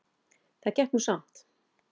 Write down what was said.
Það gekk nú samt